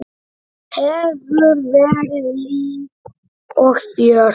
Hefur verið líf og fjör.